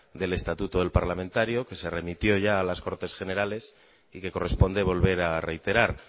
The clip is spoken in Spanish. del estatuto del parlamentario que se remitió ya a las cortes generales y que corresponde volver a reiterar